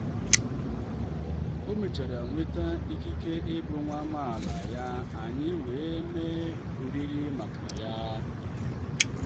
o mechara nweta ikike ịbụ nwa amaala ya anyị wee mee oriri maka ya